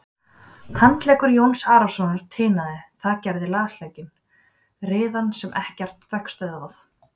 Handleggur Jóns Arasonar tinaði, það gerði lasleikinn, riðan sem ekkert fékk stöðvað.